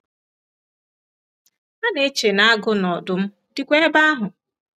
A na-eche na agụ na ọdụm dịkwa ebe ahụ.